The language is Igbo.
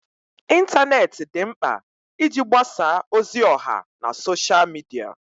ịntanetị di nkpa iji mgbasa ozi ọha na Sọsha midia